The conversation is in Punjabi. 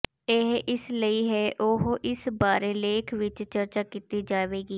ਇਹ ਇਸ ਲਈ ਹੈ ਉਹ ਇਸ ਬਾਰੇ ਲੇਖ ਵਿਚ ਚਰਚਾ ਕੀਤੀ ਜਾਵੇਗੀ